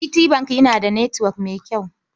GT Bank yana da netwok mai kyau.